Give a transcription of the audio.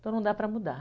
Então não dá para mudar.